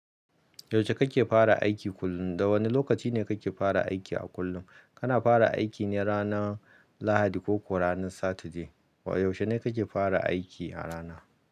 Yaushe kake fara aiki kullum? Da wane lokaci ne kake fara aiki a kullum? Kana fara aiki ne ranar Lahadi ko ranar Saturday? Yaushe ne kake fara aiki a rana?